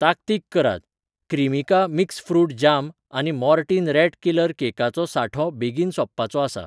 ताकतीक करात, क्रीमिका मिक्स फ्रूट जाम आनी मोर्टीन रॅट किलर केकाचो सांठो बेगीन सोंपपाचो आसा.